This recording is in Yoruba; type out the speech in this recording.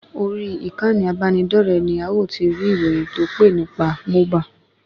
Orí ìkànnì abáni dore ni a o ti rí íróyín tó pé nípa Mohba